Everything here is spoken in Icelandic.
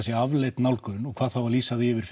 sé afleit nálgun og hvað þá að lýsa því yfir